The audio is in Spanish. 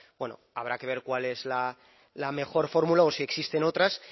bueno habrá que ver cuál es la mejor fórmula o si existen otras